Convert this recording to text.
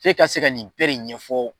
F'e ka se ka nin bɛ de ɲɛfɔ